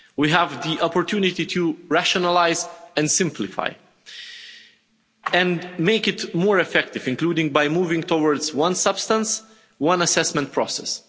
We have the opportunity to rationalise and simplify and make it more effective, including by moving towards a one substance one assessment' process.